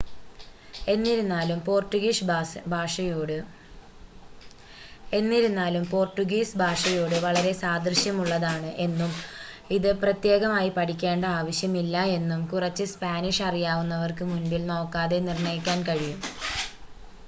എന്നിരുന്നാലും പോർട്ടുഗീസ് ഭാഷയോട് വളരെ സാദൃശ്യമുള്ളതാണ് എന്നും ഇത് പ്രത്യേകമായി പഠിക്കേണ്ട ആവശ്യം ഇല്ല എന്നും കുറച്ച് സ്‌പാനിഷ് അറിയാവുന്നവർക്ക് മുൻപിൻ നോക്കാതെ നിർണ്ണയിക്കാൻ കഴിയും